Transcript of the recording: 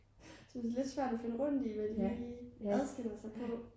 det er lidt svært at finde rundt i hvad de lige adskiller sig på